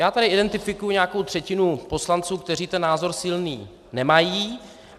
Já tady identifikuji nějakou třetinu poslanců, kteří ten názor silný nemají.